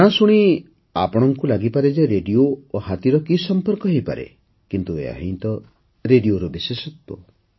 ନାଁ ଶୁଣି ଆପଣଙ୍କୁ ଲାଗିପାରେ ଯେ ରେଡିଓ ଓ ହାତୀର କି ସଂପର୍କ ହୋଇପାରେ କିନ୍ତୁ ଏହା ହିଁ ତ ରେଡ଼ିଓର ବିଶେଷତ୍ୱ